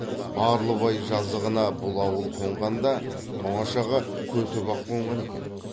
барлыбай жазығына бұл ауыл қонған да тоңашаға көтібақ қонған екен